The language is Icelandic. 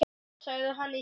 sagði hann í símann.